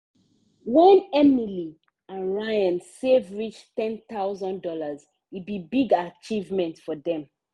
when emily and ryan save reach one thousand dollars0 e be big achievement for them.